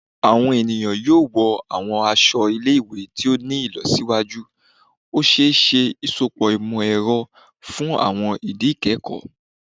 Awọn eniyan yoo wọ awọn aṣọ ile-iwe to ti ni ilọsiwaju, o ṣee ṣe iṣọpọ imọ-ẹrọ fun awọn idi ikẹkọ